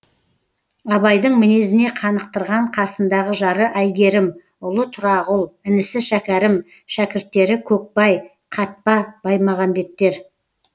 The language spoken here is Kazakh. абайдың мінезіне қанықтырған қасындағы жары әйгерім ұлы тұрағұл інісі шәкәрім шәкірттері көкбай қатпа баймағамбеттер